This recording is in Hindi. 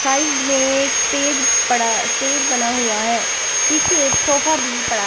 साइड में एक स्टेज पड़ा स्टेज बना हुआ है पीछे एक सोफा भी पड़ा --